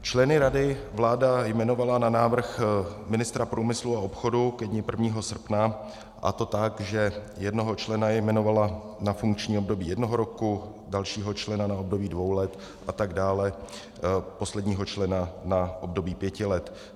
Členy rady vláda jmenovala na návrh ministra průmyslu a obchodu ke dni 1. srpna, a to tak, že jednoho člena jmenovala na funkční období jednoho roku, dalšího člena na období dvou let a tak dále, posledního člena na období pěti let.